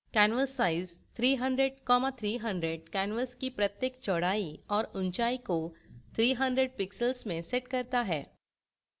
canvassize 300300 canvas की प्रत्येक चौड़ाई और ऊंचाई को 300 pixels में sets करता है